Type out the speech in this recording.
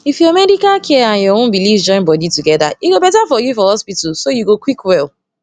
if ur medical care and ur own beliefs join body together e go better for you for hospital so u go quick well